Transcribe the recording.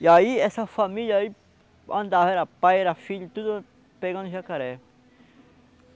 E aí essa família aí andava, era pai, era filho, tudo pegando jacaré.